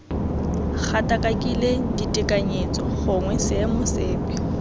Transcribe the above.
gatakakile ditekanyetso gongwe seemo sepe